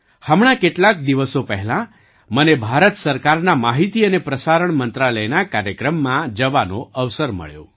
હમણાં કેટલાક દિવસો પહેલાં મને ભારત સરકારના માહિતી અને પ્રસારણ મંત્રાલયના કાર્યક્રમમાં જવાનો અવસર મળ્યો